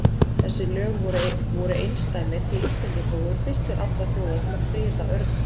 Þessi lög voru einsdæmi því Íslendingar voru fyrstir allra þjóða til að friða örninn.